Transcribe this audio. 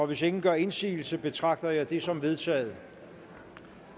hvis ingen gør indsigelse betragter jeg dette som vedtaget